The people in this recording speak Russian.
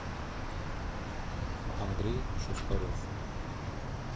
андрей шустарев